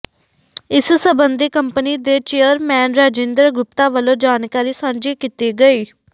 ਇਸ ਸਬੰਧੀ ਕੰਪਨੀ ਦੇ ਚੇਅਰਮੈਨ ਰਾਜਿੰਦਰ ਗੁਪਤਾ ਵੱਲੋਂ ਜਾਣਕਾਰੀ ਸਾਂਝੀ ਕੀਤੀ ਗਈ